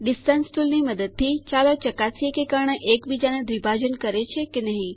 distance ટુલની મદદથી ચાલો ચકાસીએ કે કર્ણ એક બીજા ને દ્વિભાજન કરે છે કે નહિ